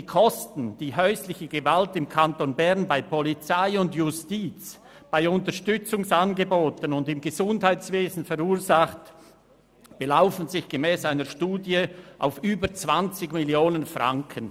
Die Kosten, welche häusliche Gewalt im Kanton Bern bei Polizei, Justiz, Unterstützungsangeboten sowie im Gesundheitswesen verursacht, belaufen sich gemäss einer Studie auf über 20 Mio. Franken.